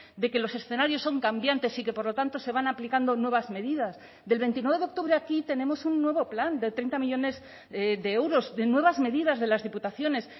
de que los escenarios son cambiantes y que por lo tanto se van aplicando nuevas medidas del veintinueve de octubre a aquí tenemos un nuevo plan de treinta millónes de euros de nuevas medidas de las diputaciones